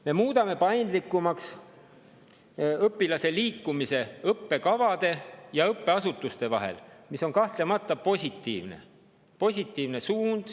Me muudame nüüd paindlikumaks õpilase liikumise õppekavade ja õppeasutuste vahel, mis on kahtlemata positiivne suund.